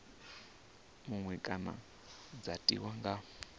muṅwe kana dza tiwa nga